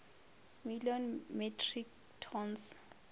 million metric tons